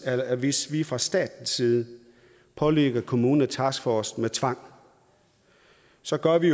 er at hvis vi fra statens side pålægger kommunerne taskforce med tvang så gør vi